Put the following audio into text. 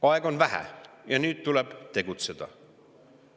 Aega on vähe ja nüüd tuleb tegutseda.